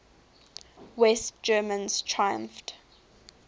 west germans triumphed